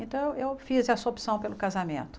Então eu eu fiz essa opção pelo casamento.